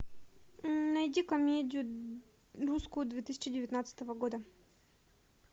найди комедию русскую две тысячи девятнадцатого года